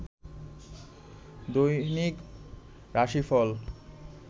দৈনিক রাশিফল